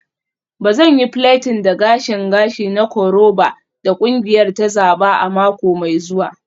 Ba zan yi plaiting da gashin gashi na koroba da kungiyar ta zaba a mako mai zuwa.